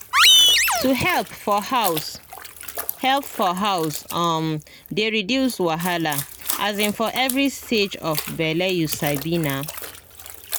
to help for house help for house um dey reduce wahala um for every stage of bele you sabi na